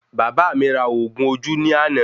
Bàbá mí ra oògùn ojú ní àna